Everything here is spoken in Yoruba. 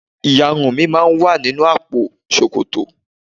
Ìyarun mi máa ń wà nínú àpò ṣòkòtò.